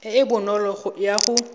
e e bonolo ya go